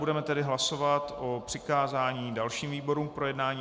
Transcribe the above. Budeme tedy hlasovat o přikázání dalším výborům k projednání.